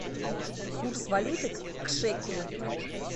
курс валюты к шекелю